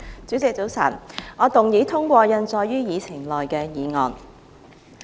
主席，早晨，我動議通過印載於議程內的議案。